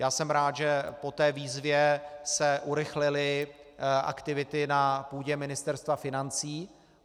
Já jsem rád, že po té výzvě se urychlily aktivity na půdě Ministerstva financí.